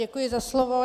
Děkuji za slovo.